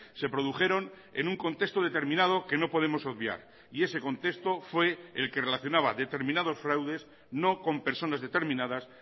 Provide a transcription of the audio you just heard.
se produjeron en un contexto determinado que no podemos obviar y ese contexto fue el que relacionaba determinados fraudes no con personas determinadas